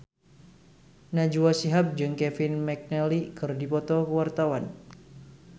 Najwa Shihab jeung Kevin McNally keur dipoto ku wartawan